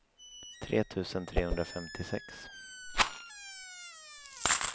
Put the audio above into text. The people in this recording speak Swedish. tre tusen trehundrafemtiosex